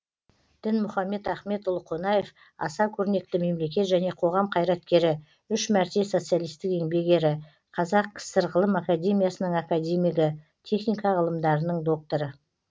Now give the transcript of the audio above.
дінмұхамед ахметұлы қонаев аса көрнекті мемлекет және қоғам қайраткері үш мәрте социалистік еңбек ері қазақ кср ғылым академиясының академигі техника ғылымдарының докторы